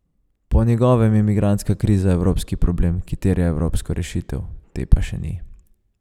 Po njegovem je migrantska kriza evropski problem, ki terja evropsko rešitev, te pa še ni.